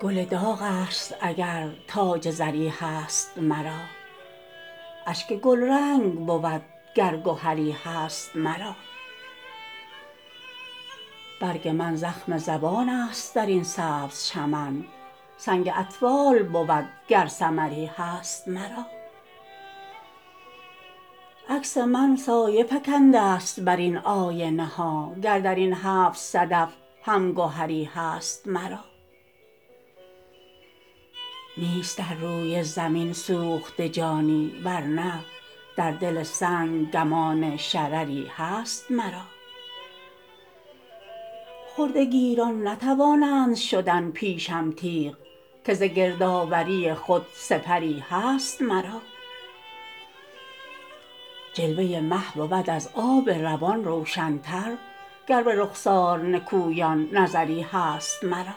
گل داغ است اگر تاج زری هست مرا اشک گلرنگ بود گر گهری هست مرا برگ من زخم زبان است درین سبز چمن سنگ اطفال بود گر ثمری هست مرا عکس من سایه فکنده است بر این آینه ها گر درین هفت صدف هم گهری هست مرا نیست در روی زمین سوخته جانی ورنه در دل سنگ گمان شرری هست مرا خرده گیران نتوانند شدن پیشم تیغ که ز گردآوری خود سپری هست مرا جلوه مه بود از آب روان روشن تر گر به رخسار نکویان نظری هست مرا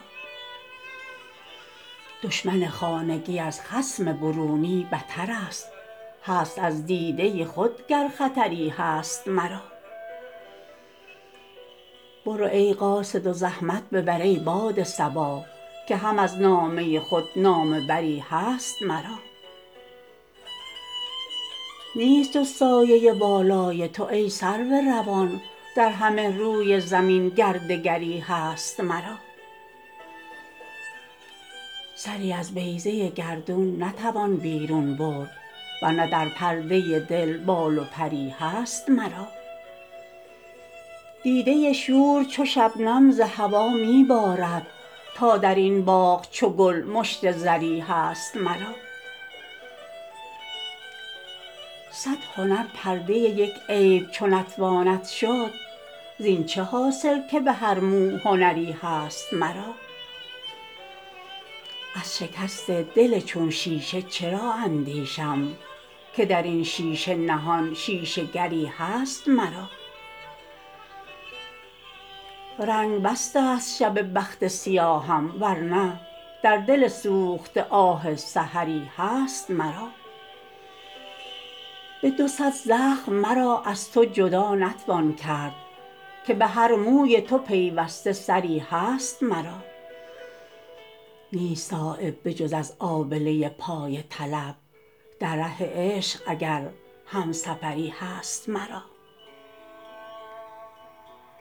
دشمن خانگی از خصم برونی بترست هست از دیده خود گر خطری هست مرا برو ای قاصد و زحمت ببر ای باد صبا که هم از نامه خود نامه بری هست مرا نیست جز سایه بالای تو ای سرو روان در همه روی زمین گر دگری هست مرا سری از بیضه گردون نتوان بیرون برد ورنه در پرده دل بال و پری هست مرا دیده شور چو شبنم ز هوا می بارد تا درین باغ چو گل مشت زری هست مرا صد هنر پرده یک عیب چو نتواند شد زین چه حاصل که به هر مو هنری هست مرا از شکست دل چون شیشه چرا اندیشم که درین شیشه نهان شیشه گری هست مرا رنگ بست است شب بخت سیاهم ورنه در دل سوخته آه سحری هست مرا به دو صد زخم مرا از تو جدا نتوان کرد که به هر موی تو پیوسته سری هست مرا نیست صایب به جز از آبله پای طلب در ره عشق اگر همسفری هست مرا